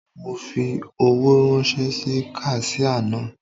Mo fi owó ráńṣẹ́ sí kaṣíà náà.